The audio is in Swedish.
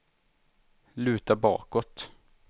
luta bakåt